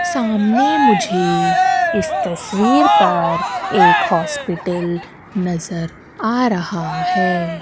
सामने मुझे इस तस्वीर पर एक हॉस्पिटल नजर आ रहा है।